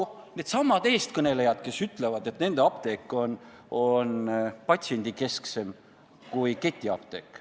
Seda teevad needsamad eestkõnelejad, kes ütlevad, et nende apteek on patsiendikesksem kui ketiapteek.